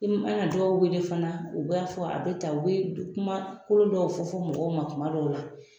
I mana dɔw wele fana u b'a fɔ a be tan, u be kumakolo dɔw fɔ fɔ mɔgɔw ma kuma dɔw la.